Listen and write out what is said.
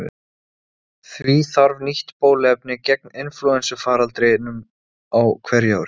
Hvert fara langreyðar sem eru við Ísland á sumrin á veturna?